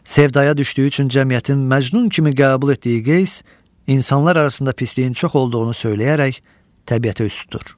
Sevdəyə düşdüyü üçün cəmiyyətin Məcnun kimi qəbul etdiyi Qeys insanlar arasında pisliyin çox olduğunu söyləyərək təbiətə üz tutur.